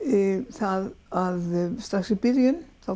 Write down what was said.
það að strax í byrjun þá